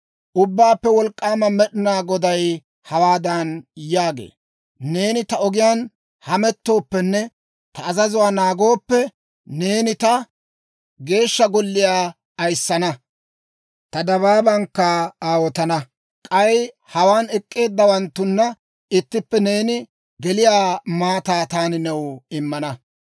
«Ubbaappe Wolk'k'aama Med'inaa Goday hawaadan yaagee; ‹Neeni ta ogiyaan hamettooppenne ta azazuwaa naagooppe, neeni ta Geeshsha Golliyaa ayissana; ta dabaabankka aawotana. K'ay hawaan ek'k'eeddawanttuna ittippe neeni geliyaa maataa taani new immana.